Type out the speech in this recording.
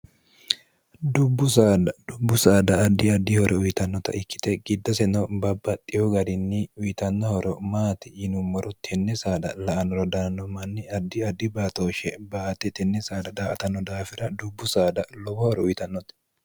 dubbu sad dubbu saada addi addi hore uyitannota ikkite giddoseno babbaxxiho garinni uyitannohoro maati yinummoro tenne saada la an rodananno manni addi addi baatooshshe baate tenni saada daa atanno daafira dubbu saada lobohore uyitannote